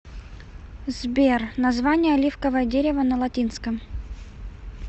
сбер название оливковое дерево на латинском